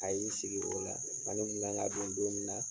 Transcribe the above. A y'i sigi o la, fani kun kan ka don don min na